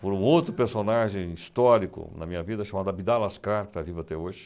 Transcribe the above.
Por um outro personagem histórico na minha vida chamado Abidal Ascar, que está vivo até hoje.